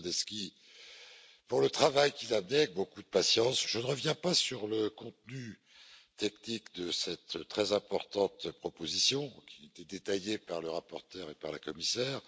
Krasnodębski, pour le travail qu'il a mené avec beaucoup de patience. Je ne reviens pas sur le contenu technique de cette très importante proposition qui a été détaillé par le rapporteur et par la Commissaire.